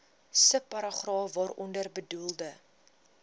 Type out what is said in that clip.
subparagraaf waaronder bedoelde